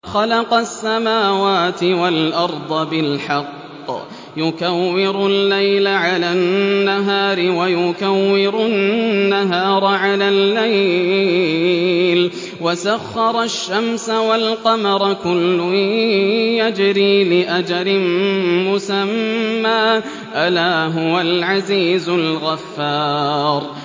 خَلَقَ السَّمَاوَاتِ وَالْأَرْضَ بِالْحَقِّ ۖ يُكَوِّرُ اللَّيْلَ عَلَى النَّهَارِ وَيُكَوِّرُ النَّهَارَ عَلَى اللَّيْلِ ۖ وَسَخَّرَ الشَّمْسَ وَالْقَمَرَ ۖ كُلٌّ يَجْرِي لِأَجَلٍ مُّسَمًّى ۗ أَلَا هُوَ الْعَزِيزُ الْغَفَّارُ